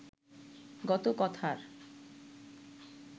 গত কথার